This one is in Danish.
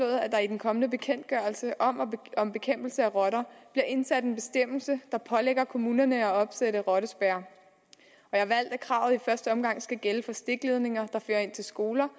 at der i den kommende bekendtgørelse om om bekæmpelse af rotter bliver indsat en bestemmelse der pålægger kommunerne at opsætte rottespærrer jeg har valgt at kravet i første omgang skal gælde for stikledninger der fører ind til skoler